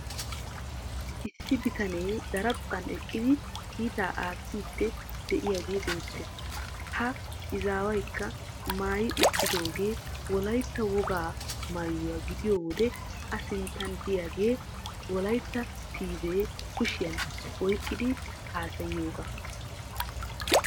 Issi bitanee daraphphan eqqidi kiitaa aattiiddi de'iyagee beettees ha izaawukka maayi uttidoogee wolaytta wogaa maayuwa gidiyo wode A sinttan deiyagee wolaytta TV kushiyan oyqqidi haasayiyogaa.